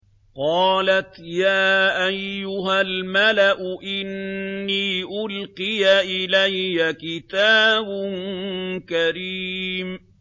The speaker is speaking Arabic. قَالَتْ يَا أَيُّهَا الْمَلَأُ إِنِّي أُلْقِيَ إِلَيَّ كِتَابٌ كَرِيمٌ